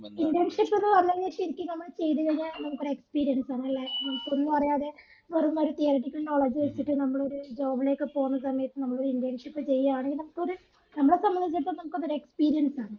internship എന്ന് പറഞ്ഞു കായിനാൽ ശരിക്കും നമ്മൾ ചെയ്‌തുകയിനാൽ നമ്മക് ഒരു experience ആണ് അല്ലെ നമ്മക് ഒന്നുഅറിയാതെ വെറും ഒരു theoretical knowledge വെച്ചിട്ട് നമ്മളൊരു job ലേക് പോന്ന സമയത്തു നമ്മൾ internship ചെയ്യുകയാണെങ്കിൽ നമ്മകൊരു നമ്മളെ സമ്മതിചടുത്തോളം നമ്മക് അതൊരു experience ആണ്